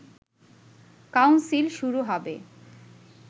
council শুরু হবে